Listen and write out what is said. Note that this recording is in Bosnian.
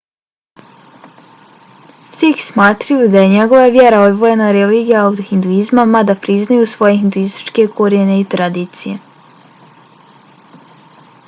sikhi smatraju da je njihova vjera odvojena religija od hinduizma mada priznaju svoje hinduističke korijene i tradicije